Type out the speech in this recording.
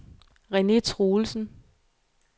Rene Truelsen